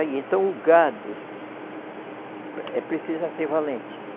Então o gado eh, precisa ser valente.